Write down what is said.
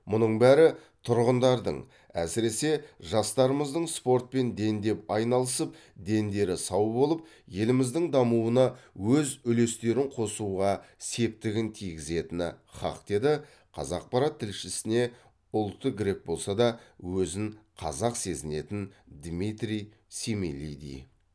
мұның бәрі тұрғындардың әсіресе жастарымыздың спортпен дендеп айналысып дендері сау болып еліміздің дамуына өз үлестерін қосуға септігін тигізетіні хақ деді қазақпарат тілшісіне ұлты грек болса да өзін қазақ сезінетін дмитрий семилиди